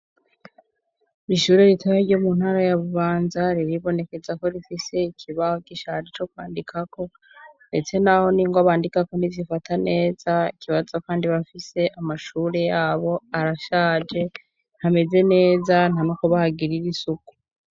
Ishure ritahe ryo mu ntara ya bubanza riribonekeza ko rifise ikibaho gishaje co kwandikako, ndetse, naho ni ngo bandikako ntizyifata neza ikibaza, kandi bafise amashure yabo arashaje ntameze neza nta makobahagirira isuku.